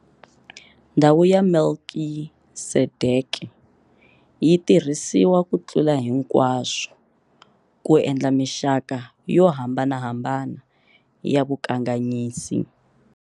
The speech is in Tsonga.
"Ndhawu ya Melkisedeke yi tirhisiwa, ku tlula hinkwaswo, ku endla mixaka yo hambanahambana ya vukanganyisi."